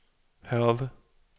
Hørve